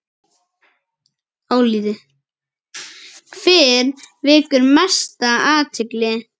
Álitið: Hver vekur mesta athygli?